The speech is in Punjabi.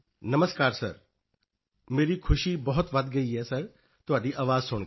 ਨਮਸਕਾਰ ਸਰ ਮੇਰੀ ਖੁਸ਼ੀ ਬਹੁਤ ਵਧ ਗਈ ਹੈ ਸਰ ਤੁਹਾਡੀ ਆਵਾਜ਼ ਸੁਣ ਕੇ